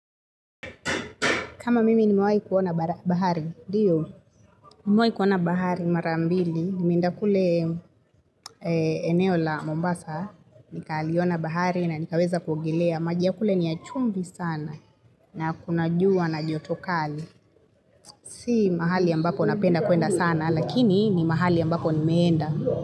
Kama mimi nimewahi kuona bahari, ndiyo, mimewahi kuona bahari mara mbili, nimeenda kule eneo la Mombasa, nikaliona bahari na nikaweza kuogelea, maji ya kule ni ya chumvi sana na kuna jua na joto kali, si mahali ambapo napenda kuenda sana, lakini ni mahali ambapo nimeenda.